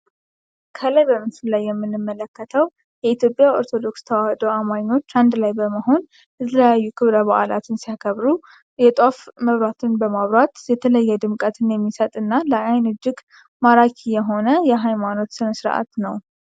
ከላይ በምስሉ ላይ የምንመለከተዉ የኢትዮጵያ ኦርቶዶክስ ተዋህዶ አማኞች አንድ ላይ በመሆን የተለያዩ ክብረ በዓላትን ሲያከብሩ የጧፍ መብራትን በማብራት የተለየ ድምቀትን የሚሰጥ እና ለአይን እጅግ ማራኪ የሆነ የሀይማኖት ስነስርዓት ነዉ።